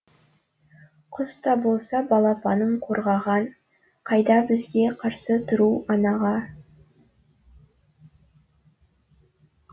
құс та болса балапанын қорғаған қайда бізге қарсы тұру анаға